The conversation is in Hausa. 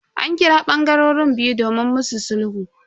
An kira bangarorin biyu domin musu sulhu.